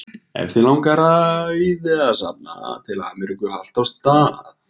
Ef þig langar auði að safna til Ameríku haltu á stað.